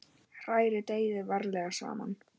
Hrærið deigið varlega saman.